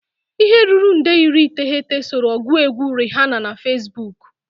Ihe ruru nde iri iteghete soro ọgụ egwu Rihanna na Facebook.